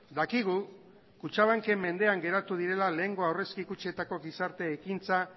dakigu kutxabanken mendean geratu direla lehengo aurrezki kutxetako gizarte ekintza